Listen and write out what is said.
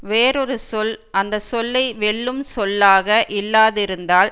வேறோரு சொல் அந்த சொல்லை வெல்லும் சொல்லாக இல்லாதிருந்தால்